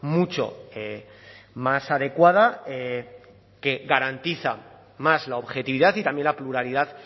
mucho más adecuada que garantiza más la objetividad y también la pluralidad